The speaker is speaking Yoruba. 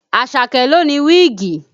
Àṣàkẹ́ ló ní wíìgì